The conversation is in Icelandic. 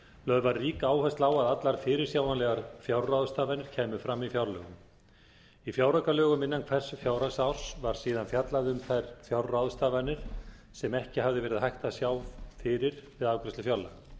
lögð var rík áhersla á að allar fyrirsjáanlegar fjárráðstafanir kæmu fram í fjárlögum í fjáraukalögum innan hvers fjárhagsárs væri síðan fjallað um þær fjárráðstafanir sem ekki hefði verið hægt að sjá fyrir við afgreiðslu fjárlaga